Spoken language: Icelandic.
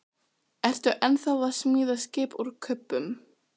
Ertu ennþá að smíða skip úr kubbum?